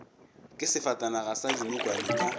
ke sefatanaga sa dinokwane ka